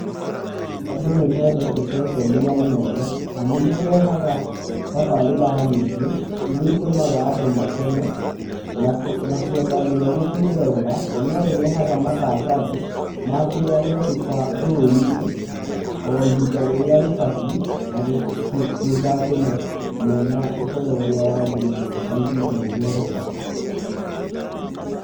Andũ nĩmendete ceceni ya Inooro, amu nĩ ĩrehaga tabarĩra nyĩngĩ iriaa itũmaga andũ makene, na kwenda mũno gũcĩrorera, na no ĩrehaga matangatho, ma kĩrĩa gĩekĩka bũrũri-inĩ oihinda rĩrĩa rĩbatie na kũiga andũ mena ũhoro ũrĩa wagĩrĩrwo kwa ihinda rĩrĩa rĩbatĩe.